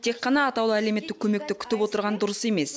тек қана атаулы әлеуемттік көмекті күтіп отырған дұрыс емес